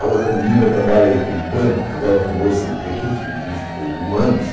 A outra menina trabalha em em banco, agora formou-se em recursos, em direitos hu humanos.